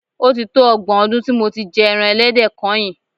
O ti tó ọgbọ̀n ọdún tí mo ti jẹ ẹran ẹlẹ́dẹ̀ kányìn.